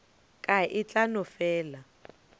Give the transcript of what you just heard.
ka e tla no fela